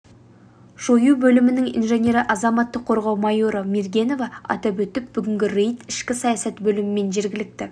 жою бөлімінің инженері азаматтық қорғау майоры мергенова атап өтті бүгінгі рейд ішкі саясат бөлімімен жергілікті